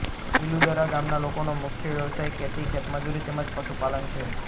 પિલુદરા ગામના લોકોનો મુખ્ય વ્યવસાય ખેતી ખેતમજૂરી તેમ જ પશુપાલન છે